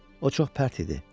O çox pərt idi.